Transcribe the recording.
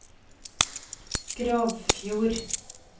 Grovfjord